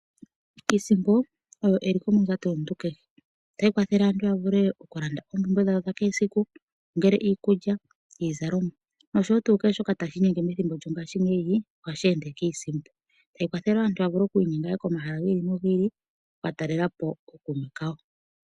Iisimpo oyo eliko mondjato yomuntu kehe, ota yikwathele aantu ya vule oku landa oompumbe dhawo dha kehe siku ongele iikulya, iizalomwa noshowo tuu kehe shoka ta shi inyenge methimbo lyo ngaashingeyi oha shi ende kiisimpo ta yi kwathele woo aantu ya vule oku inyenga woo komahala gi ili no gi ili ku katalelapo ookuume kawo.